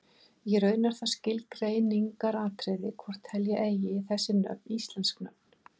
Í raun er það skilgreiningaratriði hvort telja eigi þessi nöfn íslensk nöfn.